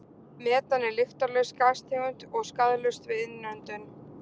Metan er lyktarlaus gastegund og skaðlaust við innöndun.